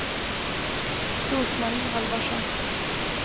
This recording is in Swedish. Rose-Marie Halvarsson